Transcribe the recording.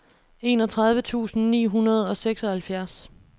enogtredive tusind ni hundrede og seksoghalvfjerds